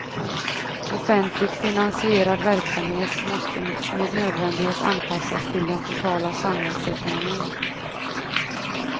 Offentligt finansierad verksamhet måste med nödvändighet anpassas till den totala samhällsekonomin.